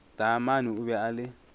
taamane o be a le